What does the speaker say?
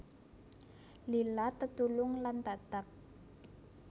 Lila tetulung lan tatag